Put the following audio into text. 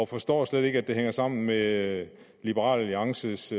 forstår slet ikke at det hænger sammen med liberal alliances